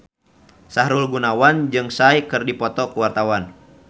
Sahrul Gunawan jeung Psy keur dipoto ku wartawan